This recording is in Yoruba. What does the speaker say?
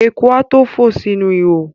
Eku a tó fò sínú ihò.